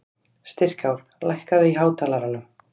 Styrkár, lækkaðu í hátalaranum.